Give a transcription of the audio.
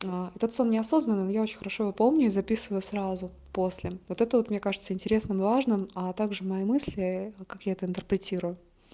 та этот сон неосознанный но я очень хорошо его помню и записывай сразу после вот это вот мне кажется интересным и важным а также мои мысли как я это интерпретирую